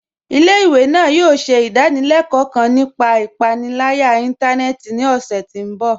Ilẹ̀-ìwé náà yòò ṣẹ̀ idàníléló̩kò̩ kán nípà ìpànìlàyà ìntànẹ̀ẹ̀tì ní ọṣẹ̀ ti mbọ̀.